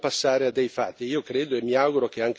È necessario passare a dei fatti.